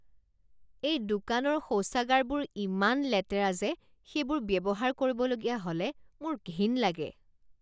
এই দোকানৰ শৌচাগাৰবোৰ ইমান লেতেৰা যে সেইবোৰ ব্যৱহাৰ কৰিবলগীয়া হ'লে মোৰ ঘিণ লাগে।